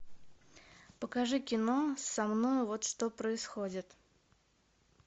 покажи кино со мною вот что происходит